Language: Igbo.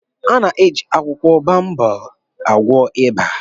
A na-eji akwụkwọ baobab agwọ ịba